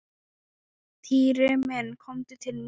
Týri minn komdu til mín.